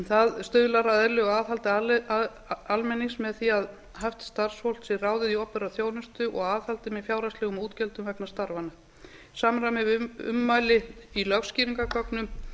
það stuðlar að eðlilegu aðhaldi almennings með því að hæft starfsfólk sé ráðið í opinbera þjónustu og aðhaldi með fjárhagslegum útgjöldum vegna starfanna í samræmi við ummæli í lögskýringargögnum